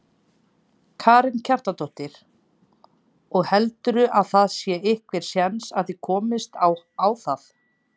Karen Kjartansdóttir: Og heldurðu að það sé einhver séns að þið komist á það?